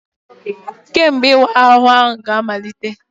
Kedu mgbe ịwa ahụ ga-amalite?